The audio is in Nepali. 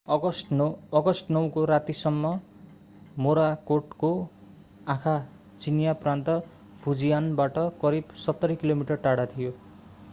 अगस्ट 9 को रातिसम्म मोराकोटको आँखा चिनियाँ प्रान्त फुजियानबाट करिव सत्तरी किलोमिटर टाढा थियो